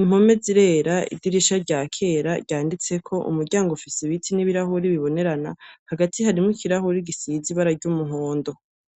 impome zirera idirisha rya kera ryanditseko umuryango ufisi ibiti n'ibirahuri bibonerana hagati harimwo ikirahuri gisize ibarary' umuhondo.